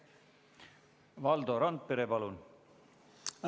Valdo Randpere, palun!